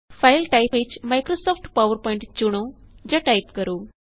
file type ਵਿੱਚ Microsoft PowerPoint ਚੁਣੋ ਜਾਂ ਟਾਇਪ ਕਰੋ